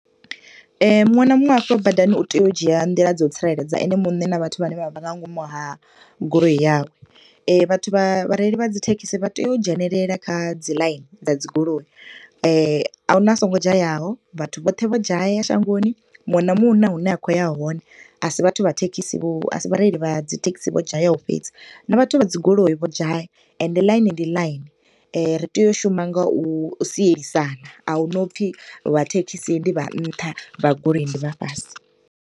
Muṅwe na muṅwe hafha badani u tea u dzhia nḓila dza u tsireledza ene muṋe na vhathu vhane vha vha nga ngomu ha goloi yawe. Vhathu vha, vhareili vha dzithekhisi vha teya u dzhenelela kha dzi ḽaini dza dzi goloi, ahuna a songo dzhayaho, vhathu vhoṱhe vho dzhaya shangoni. Muṅwe na muṅwe huna hune a khou ya hone, asi vhathu vha thekhisi vho, asi vhareili vha dzi thekhisi vho dzhayaho fhedzi, na vhathu vha dzi goloi vho dzhaya, ende ḽaini ndi ḽaini. Ri tea u shuma nga u sielisana, ahuna upfi vha thekhisi ndi vha nṱha, vha goloi ndi vha fhasi.